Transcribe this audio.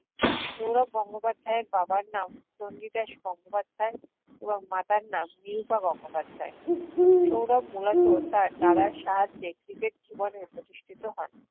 সৌরভ গঙ্গোপাধ্যাইয়ের বাবার নাম চণ্ডীদাশ গঙ্গোপাধ্যায় এবং মাতার নাম নিরুপা গঙ্গোপাধ্যায়। সৌরভ মূলত তার দাদার সাহায্যে cricket জীবনে প্রতিষ্ঠিত হন।